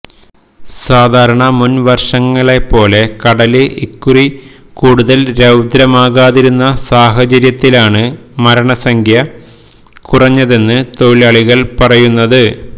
സാധാരണ മുന് വര്ഷങ്ങളെ പോലെ കടല് ഇക്കുറി കൂടുതല് രൌദ്രമാകാതിരുന്ന സാഹചര്യത്തിലാണ് മരണസംഖ്യ കുറഞ്ഞതെന്നാണ് തൊഴിലാളികള് പറയുന്നത്